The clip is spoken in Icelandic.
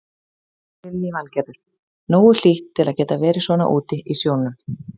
Lillý Valgerður: Nógu hlýtt til að geta verið svona úti í sjónum?